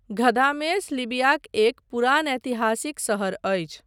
Ghadames लिबियाक एक पुरान ऐतिहासिक शहर अछि।